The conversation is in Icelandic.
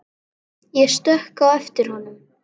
Ég stökk á eftir honum.